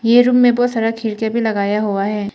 ये रूम में बहोत सारा खिड़कियां भी लगाया हुआ है।